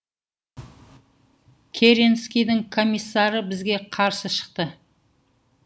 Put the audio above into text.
керенскийдің комиссары бізге қарсы шықты